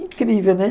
Incrível, né?